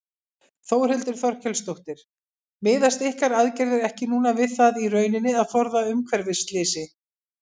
Þórhildur Þorkelsdóttir: Miðast ykkar aðgerðir ekki núna við það í rauninni að forða umhverfisslysi?